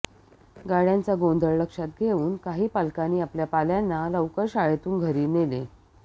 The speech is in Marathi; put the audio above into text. गाडय़ांचा गोंधळ लक्षात घेऊन काही पालकांनी आपल्या पाल्यांना लवकर शाळेतून घरी नेले